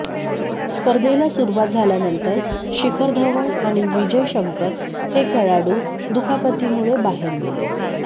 स्पर्धेला सुरुवात झाल्यानंतर शिखर धवन आणि विजय शंकर हे खेळाडू दुखापतीमुळे बाहेर गेले